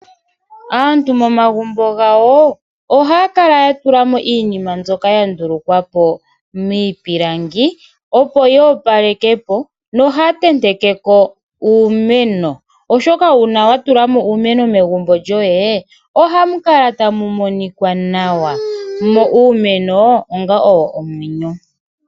Aantu momagumbo gawo ohaya kala ya tula mo iinima mbyoka ya ndulukwa po miipilangi, opo yi opaleke po, nohaya tenteke ko uumeno, oshoka uuna wa tula mo uumeno megumbo lyoye, ohamu kala tamu monika nawa, nuumeno owo onga omwenyo.